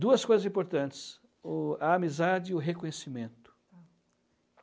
Duas coisas importantes, o a amizade e o reconhecimento.